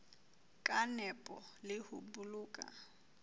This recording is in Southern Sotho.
ka nepo le ho boloka